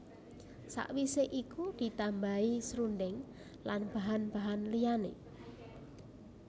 Sawise iku ditambahi srundeng lan bahan bahan liyane